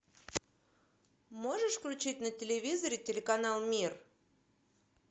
можешь включить на телевизоре телеканал мир